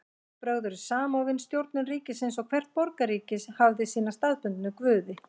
Trúarbrögð voru samofin stjórnun ríkisins og hvert borgríki hafði sína staðbundnu guði.